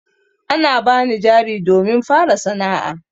An bani jari domin fara sana'a.